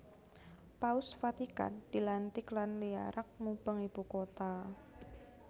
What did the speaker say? Paus Vatikan dilantik lan diarak mubeng ibu kota